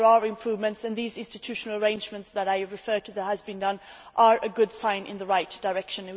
But there are improvements, and these institutional arrangements that I refer to, that have been done, are a good step in the right direction.